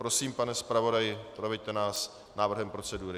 Prosím, pane zpravodaji, proveďte nás návrhem procedury.